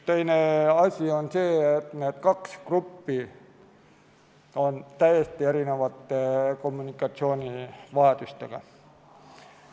Teine asi on see, et need kaks gruppi on täiesti erinevate kommunikatsioonivajadustega.